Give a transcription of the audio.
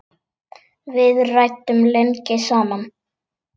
Við ræddum lengi saman.